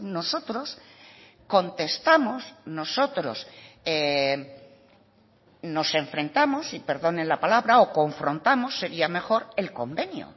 nosotros contestamos nosotros nos enfrentamos y perdonen la palabra o confrontamos sería mejor el convenio